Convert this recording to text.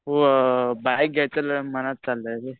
हो बाईक घ्यायचं मनात चाललंय रे.